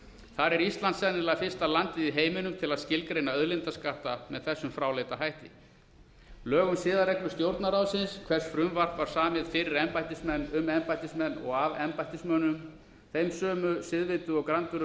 þar er ísland sennilega eina landið í heiminum til að skilgreina auðlindaskatta með þessum fráleita hætti lög um siðareglur stjórnarráðsins hvers frumvarp var samið fyrir embættismenn um embættismenn og af embættismönnum þeim siðvönu og grandvöru